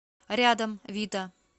рядом вита